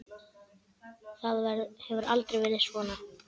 Það hefur aldrei verið svona.